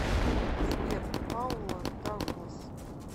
сбер паула дауглас